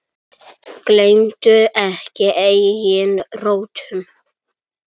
Gleymdu ekki eigin rótum.